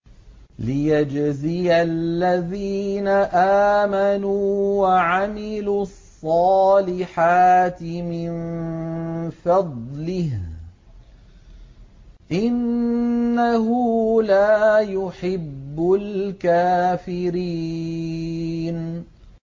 لِيَجْزِيَ الَّذِينَ آمَنُوا وَعَمِلُوا الصَّالِحَاتِ مِن فَضْلِهِ ۚ إِنَّهُ لَا يُحِبُّ الْكَافِرِينَ